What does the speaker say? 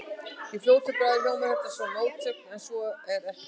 Í fljótu bragði hljómar þetta sem mótsögn en svo er ekki.